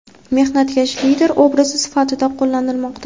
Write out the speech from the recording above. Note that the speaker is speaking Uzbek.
mehnatkash lider obrazi sifatida qo‘llanilmoqda.